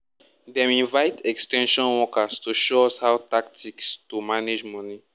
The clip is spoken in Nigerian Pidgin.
dem invite ex ten sion workers to show us how tactics to manage money